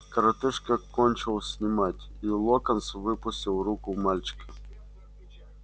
коротышка кончил снимать и локонс выпустил руку мальчика